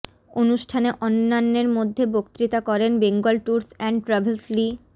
অনুষ্ঠানে অন্যান্যের মধ্যে বক্তৃতা করেন Bengal tours and travels Li